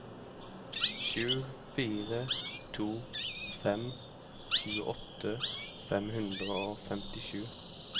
sju fire to fem tjueåtte fem hundre og femtisju